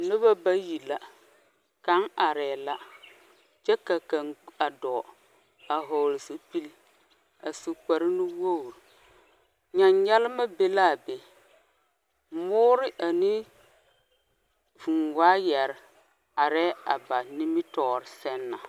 Noba bayi la kaŋa arɛɛ la kyɛ ka kaŋa dɔɔ a vɔgli zupili a su kparre nuwogi nyanyalma be la a be moori a vūū wayari arɛɛ a ba nimitɔɔre zɛŋ na.